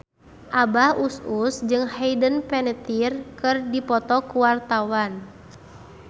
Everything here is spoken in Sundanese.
Abah Us Us jeung Hayden Panettiere keur dipoto ku wartawan